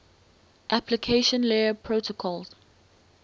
application layer protocols